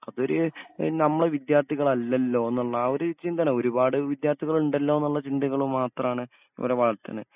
അവര് എഹ് നമ്മളെ വിദ്യാർത്ഥികളല്ലല്ലോന്നുള്ളാ ഒര് ചിന്താണ് ഒരുപാട് വിദ്യാർത്ഥികളുണ്ടല്ലോന്ന്ള്ള ചിന്തകളുമാത്രാണ് ഇവരെ വളർത്ത്ന്ന്.